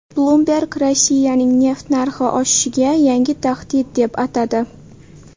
Bloomberg Rossiyani neft narxi oshishiga yangi tahdid deb atadi.